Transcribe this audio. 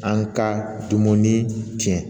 An ka dumuni tiɲɛ